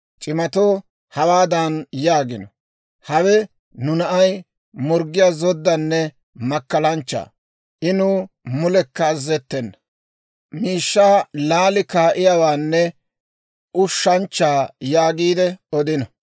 C'imatoo hawaadan yaagino; ‹Hawe nu na'ay morggiyaa zoddaanne makkalanchcha; I nuw mulekka azazettena; miishshaa laali kaa'iyaawaanne ushshanchcha› yaagiide odino.